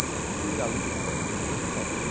Eu sempre fui aluno sete, para mim está ótimo.